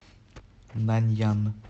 наньян